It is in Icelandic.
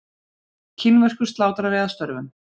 kínverskur slátrari að störfum